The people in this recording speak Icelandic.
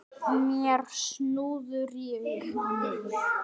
Mér súrnaði í augum.